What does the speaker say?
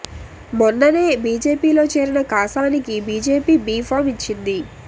మొన్ననే బీజేపీ లో చేరిన కాసానికి బీజేపీ బి ఫార్మ్ ఇచ్చింది